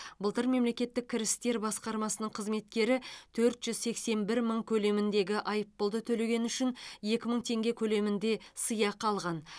былтыр мемлекеттік кірістер басқармасының қызметкері төрт жүз сексен бір мың көлеміндегі айыппұлды төлегені үшін екі мың теңге көлемінде сыйақы алған